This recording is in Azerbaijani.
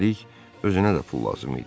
Üstəlik özünə də pul lazım idi.